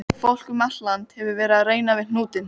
Fólk um allt land hefur verið að reyna við hnútinn.